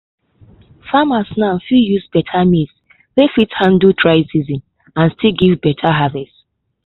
farmers now dey use beta maize wey fit handle dry season and still give beta harvest.